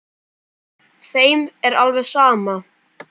Þeim er alveg sama.